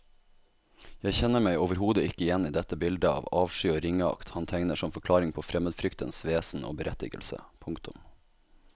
Jeg kjenner meg overhodet ikke igjen i dette bildet av avsky og ringeakt han tegner som forklaring på fremmedfryktens vesen og berettigelse. punktum